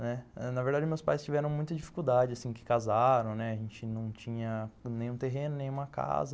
Né, na verdade, meus pais tiveram muita dificuldade assim que casaram, né, a gente não tinha nenhum terreno, nenhuma casa.